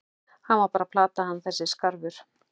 Hann var bara að plata hann þessi skarfur.